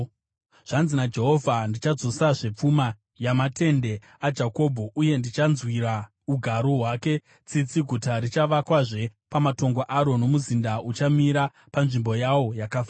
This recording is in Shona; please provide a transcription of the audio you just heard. “Zvanzi naJehovha: “ ‘Ndichadzosazve pfuma yamatende aJakobho uye ndichanzwira ugaro hwake tsitsi; guta richavakwazve pamatongo aro, nomuzinda uchamira panzvimbo yawo yakafanira.